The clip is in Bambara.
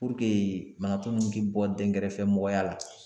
banatɔ minnu bɛ bɔ dɛnkɛrɛfɛmɔgɔya la